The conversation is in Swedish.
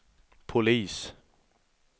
polis